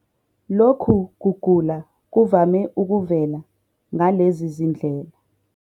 Lokhu kugula kuvame ukuvela ngalezi zindlela.